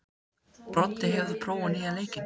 Broddi, hefur þú prófað nýja leikinn?